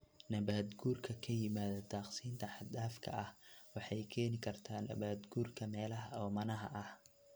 Nabaad-guurka ka yimaada daaqsinta xad-dhaafka ah waxay keeni kartaa nabaad-guurka meelaha oomanaha ah.